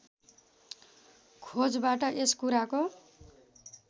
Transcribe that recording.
खोजबाट यस कुराको